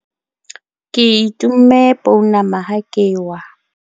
ke itomme pounama ha ke wa